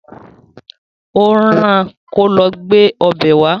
Ó rán-an kí ó lọ gbé ọbẹ̀ wá